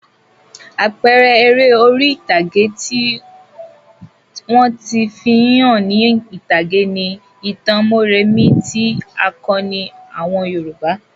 Àpẹẹrẹ eré orí-ìtàgé tí wọ́n ti fi hàn ní ìtàgé ni ìtàn Mórèmí tí ń àkọni àwọn Yorùbá.